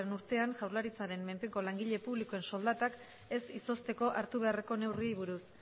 urtean jaurlaritzaren menpeko langile publikoen soldatak ez izozteko hartu beharreko neurriei buruz